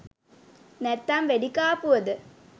නැත්තං වෙඩි කාපුවද?